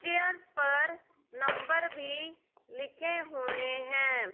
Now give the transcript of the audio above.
Chairs पर number भी लिखे हुए है।